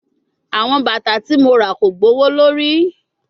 Awọn bata ti mo ra ko gbowolori